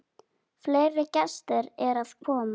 Fleiri gestir eru að koma.